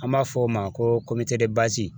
An b'a fɔ o ma ko